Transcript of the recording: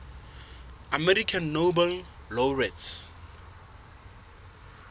american nobel laureates